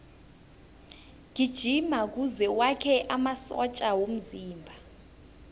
gijima kuze wakhe amasotja womzimba